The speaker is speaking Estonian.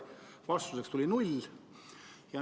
Vastuseks oli jälle null.